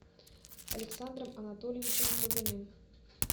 александром анатольевичем трубиным